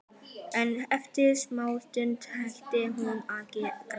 En eftir smástund hætti hún að gráta.